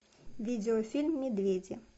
видеофильм медведи